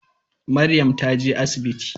Maryam ta je asibiti.